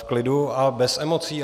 V klidu a bez emocí.